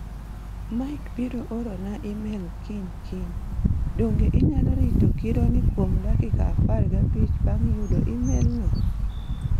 Mike biro orona e-mail kiny kiny. Donge inyalo rito kironi kuom dakika apar gabich bang' yudo e-mailno?